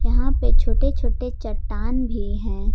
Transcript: यहां पे छोटे छोटे चट्टान भी हैं।